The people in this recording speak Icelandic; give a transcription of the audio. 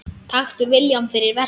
Taktu viljann fyrir verkið.